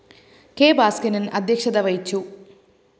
K Bhaskaran‍ അദ്ധ്യക്ഷത വഹിച്ചു